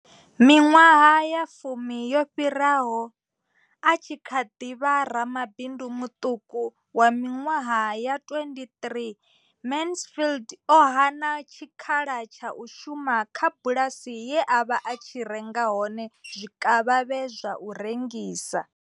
Miṅwaha ya fumi yo fhiraho, a tshi kha ḓi vha ramabindu muṱuku wa miṅwaha ya 23, Mansfield o hana tshikhala tsha u shuma kha bulasi ye a vha a tshi renga hone zwikavhavhe zwa u rengisa.